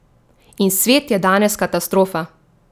In svet je danes katastrofa!